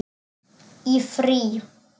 Í frí.